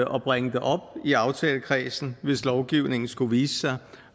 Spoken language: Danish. og bringe det op i aftalekredsen hvis lovgivningen skulle vise sig